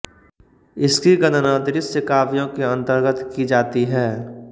इसकी गणना दृश्यकाव्यों के अन्तर्गत की जाती है